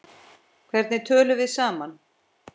Hvernig tölum við saman?